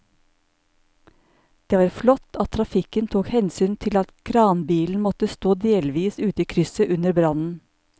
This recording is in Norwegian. Det var flott at trafikken tok hensyn til at kranbilen måtte stå delvis ute i krysset under brannen.